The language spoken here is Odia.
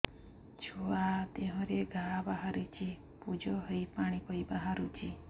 ଛୁଆ ଦେହରେ ଘା ବାହାରିଛି ପୁଜ ହେଇ ପାଣି ପରି ବାହାରୁଚି